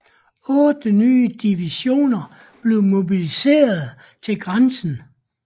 Otte nye divisioner blev mobiliserede til grænsen